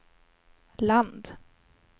land